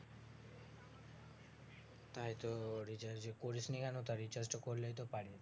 তাই তো recharge করিসনি কেনো তা recharge টা করলেই তো পারিস